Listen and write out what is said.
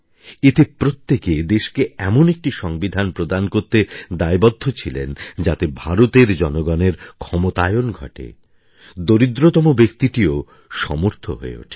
এতে প্রত্যেকে দেশকে এমন একটি সংবিধান প্রদান করতে দায়বদ্ধ ছিলেন যাতে ভারতের জনগণের ক্ষমতায়ন ঘটে দরিদ্রতম ব্যক্তিটিও সমর্থ হয়ে ওঠে